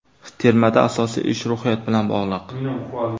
Termada asosiy ish ruhiyat bilan bog‘liq.